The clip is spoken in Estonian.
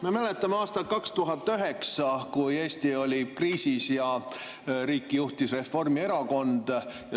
Me mäletame aastat 2009, kui Eesti oli kriisis ja riiki juhtis Reformierakond.